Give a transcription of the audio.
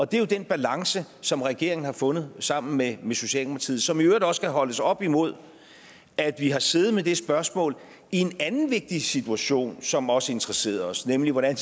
det er jo den balance som regeringen har fundet sammen med socialdemokratiet som i øvrigt også skal holdes op imod at vi har siddet med det spørgsmål i en anden vigtig situation som også interesserede os nemlig hvordan